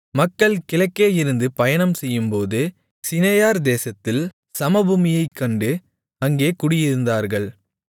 மக்கள் கிழக்கேயிருந்து பயணம்செய்யும்போது சிநெயார் தேசத்தில் சமபூமியைக்கண்டு அங்கே குடியிருந்தார்கள்